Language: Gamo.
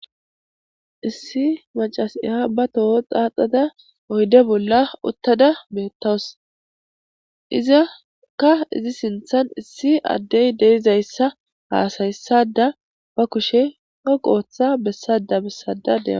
issi macasiya ba toho xaaxada oyde bolla uttada beettawus izakka izi sinthan issi addey deizayssa haasayssada ba kushe ho qooththa bessada bessada dea